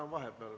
Aitäh!